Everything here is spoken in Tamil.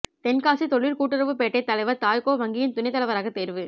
தென்காசி தொழிற்கூட்டுறவு பேட்டை தலைவா் தாய்கோ வங்கியின் துணைத் தலைவராக தோ்வு